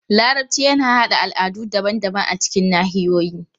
Larabci yana haɗa al'adu daban-daban a cikin nahiyoyi.